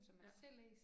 Ja